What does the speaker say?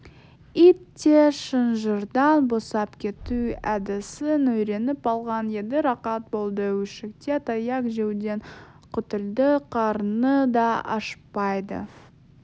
ит те шынжырдан босап кету әдісін үйреніп алған еді рақат болды үйшікте таяқ жеуден құтылды қарны да ашпайды